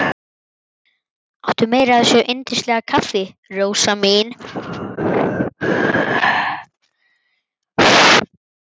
Áttu meira af þessu yndislega kaffi, Rósa mín?